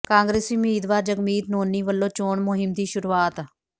ਕਾਂਗਰਸੀ ਉਮੀਦਵਾਰ ਜਗਮੀਤ ਨੋਨੀ ਵਲੋਂ ਚੋਣ ਮੁਹਿੰਮ ਦੀ ਸ਼ੁਰੂਆਤ